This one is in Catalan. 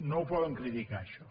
no ho poden criticar això